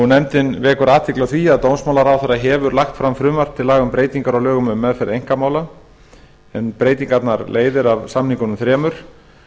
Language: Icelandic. nefndin vekur athygli á því að dómsmálaráðherra hefur lagt fram frumvarp til laga um breytingar á lögum um meðferð einkamála en breytingarnar leiðir af samningunum þremur